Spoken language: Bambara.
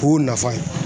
O y'o nafa ye